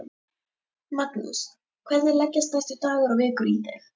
Magnús: Hvernig leggjast næstu dagar og vikur í þig?